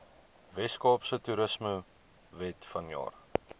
weskaapse toerismewet vanjaar